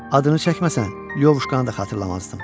Adını çəkməsən, Lövuşkanı da xatırlamazdım.